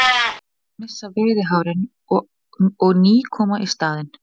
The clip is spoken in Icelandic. Kettir missa veiðihárin og ný koma í staðinn.